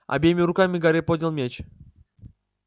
обеими руками гарри поднял меч